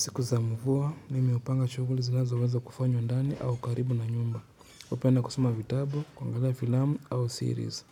Siku za mvua, mimi hupanga shuguli zinazo weza kufanywa ndani au karibu na nyumba. Upenda kusoma vitabu, kuangalia filamu au series.